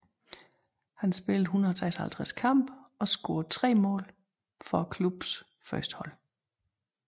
Han spillede 156 kampe og scorede tre mål for klubbens førstehold